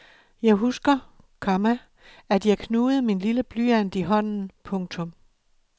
Jeg husker, komma at jeg knugede min lille blyant i hånden. punktum